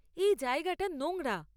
এই জায়গাটা নোংরা।